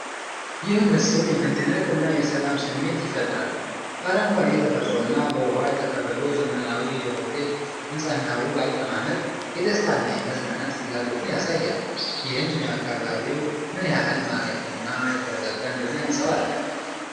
ይህ ምስል የመደነቅ እና የሰላም ስሜት ይፈጥራል። በአረንጓዴ ተፈጥሮና በውሃ የተከበበው ዘመናዊ የሆቴል ሕንፃና ውብ አቀማመጥ፣ የደስታ እና የመዝናናት ፍላጎትን ያሳያል፤ ይህም አካባቢው ምን ያህል ማራኪና የተረጋጋ እንደሆነ ያንጸባርቃል።